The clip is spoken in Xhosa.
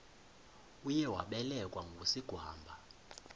uye wabelekwa ngusigwamba